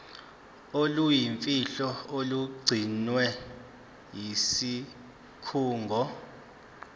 oluyimfihlo olugcinwe yisikhungo